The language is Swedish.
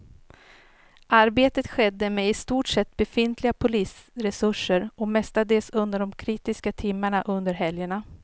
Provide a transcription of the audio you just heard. Arbetet skedde med i stort sett befintliga polisresurser och mestadels under de kritiska timmarna under helgerna.